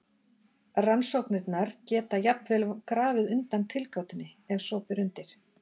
Rannsóknirnar geta jafnvel grafið undan tilgátunni ef svo ber undir.